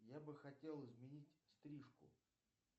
я бы хотел изменить стрижку